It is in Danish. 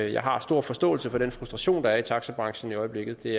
jeg har stor forståelse for den frustration der er i taxabranchen i øjeblikket det